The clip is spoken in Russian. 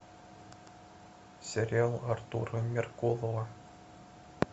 сериал артура меркулова